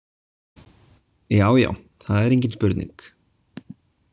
Já já, það er engin spurning.